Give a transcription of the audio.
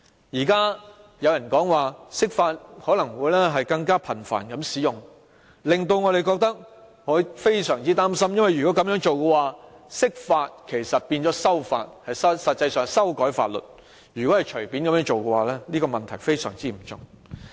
現時有人說可能會更頻繁地釋法，這令我們非常擔心，因為如果這樣做，釋法其實變成修法，如果可以隨便這樣做，問題非常嚴重。